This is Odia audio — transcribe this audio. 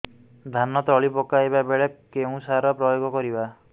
ଧାନ ତଳି ପକାଇବା ବେଳେ କେଉଁ ସାର ପ୍ରୟୋଗ କରିବା